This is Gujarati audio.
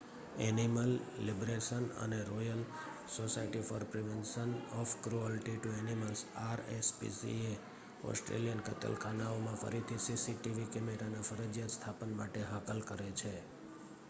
એનિમલ લિબરેશન અને royal society for prevention of cruelty to animals rspca Australian કતલખાનાઓમાં ફરીથી સીસીટીવી કેમેરાના ફરજિયાત સ્થાપન માટે હાકલ કરે છે